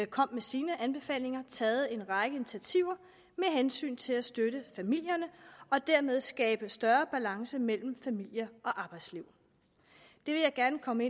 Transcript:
kom med sine anbefalinger taget en række initiativer med hensyn til at støtte familierne og dermed skabe større balance mellem familie og arbejdsliv det vil jeg gerne komme